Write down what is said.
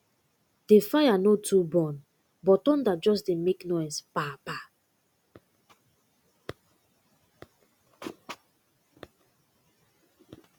the fire no too burn but thunder just dey make noise pa pa